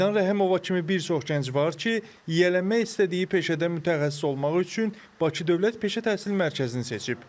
Aydan Rəhimova kimi bir çox gənc var ki, yiyələnmək istədiyi peşədə mütəxəssis olmaq üçün Bakı Dövlət Peşə Təhsil Mərkəzini seçib.